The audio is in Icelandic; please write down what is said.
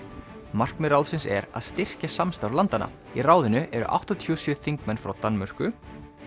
markmið ráðsins er að styrkja samstarf landanna í ráðinu eru áttatíu og sjö þingmenn frá Danmörku